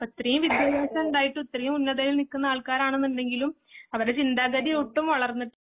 ഇത്രേം വിദ്ത്യഭ്യസഇണ്ടായിട്ടും ഇത്രെയും ഉന്നതിയിൽ നിക്കുന്ന ആൾക്കാരാണെന്നുണ്ടെങ്കിലും അവരുടെ ചിന്താഗതി ഒട്ടും വളർ